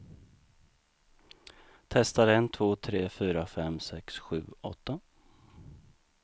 Testar en två tre fyra fem sex sju åtta.